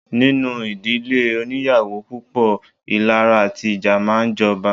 Nínú ìdílé óníyàwó púpọ̀, ìlara àti ìjà máa ń jọba.